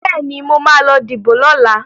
Bẹ́ẹ̀ni, mo ma lọ díbò lọ́la